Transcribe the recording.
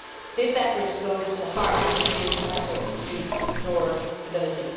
This effort goes to the heart of the Union's efforts to restore stability.